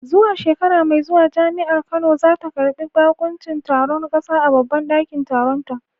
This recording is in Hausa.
Zuwa shekara mai zuwa Jami’ar Kano za ta karbi bakuncin taron kasa a babban dakin taronta.